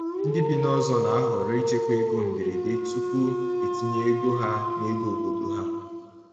Ndị bi n’ọzọ na-ahọrọ ichekwa ego mgberede tupu etinye ego ha n’ego obodo ha.